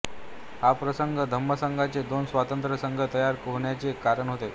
हा प्रसंग धम्मसंघाचे दोन स्वतंत्र संघ तयार होण्याचे कारण होय